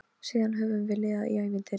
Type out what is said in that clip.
Síðan höfum við lifað í ævintýri.